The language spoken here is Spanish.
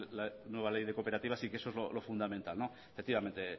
de una nueva ley de cooperativas y que eso es lo fundamental efectivamente